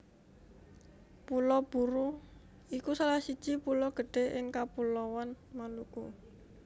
Pulo Buru iku salah siji pulo gedhé ing Kapuloan Maluku